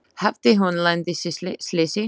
Hafði hún lent í slysi?